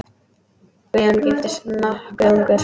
Guðjón giftist nokkuð ungur.